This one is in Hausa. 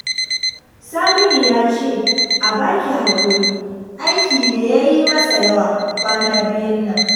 Saminu ya ce a baki hakuri aiki ne yayi masa yawa kwana biyun nan